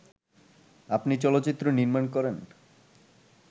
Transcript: আপনি চলচ্চিত্র নির্মাণ করেন